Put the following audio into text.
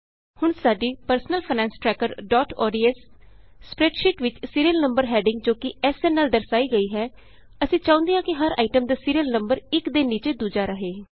ਹੁਣ ਸਾਡੀ personal finance trackerਓਡੀਐਸ ਸਪਰੈੱਡਸ਼ੀਟ ਵਿਚ ਸੀਰੀਅਲ ਨੰਬਰ ਹੈਡਿੰਗ ਜੋ ਕਿ ਐਸਐਨ ਨਾਲ ਦਰਸਾਈ ਹੈ ਅਸੀਂ ਚਾਹੁੰਦੇ ਹਾਂ ਕਿ ਹਰ ਆਈਟਮ ਦਾ ਸੀਰੀਅਲ ਨੰਬਰ ਇਕ ਦੇ ਨੀਚੇ ਦੂਜਾ ਰਹੇ